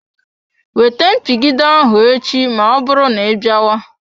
Wete mpigide ahụ echi ma ọbụrụ na ịbịawa.